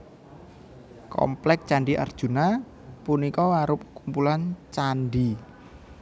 Komplék Candhi Arjuna punika arup kumpulan candhi